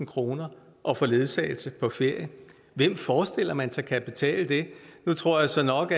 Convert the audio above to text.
kroner at få ledsagelse på ferie hvem forestiller man sig kan betale det nu tror jeg så nok